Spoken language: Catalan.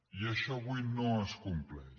i això avui no es compleix